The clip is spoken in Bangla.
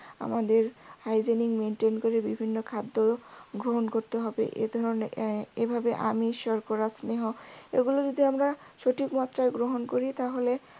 আমাদের hygiene maintain করে বিভিন্ন খাদ্য গ্রহন করতে হবে এধরণে এর এভাবে আমিষ শর্করা স্নেহ এগুলি যদি আমরা সঠিক মাত্রায় গ্রহণ করি তাহলে